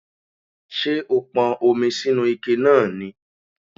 Ṣé o pọn omi sínu ike náà ni?